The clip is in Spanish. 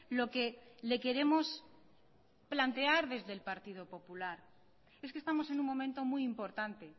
lo que le queremos plantear desde el partido popular es que estamos en un momento muy importante